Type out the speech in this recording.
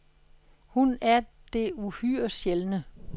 Hun er det uhyre sjældne.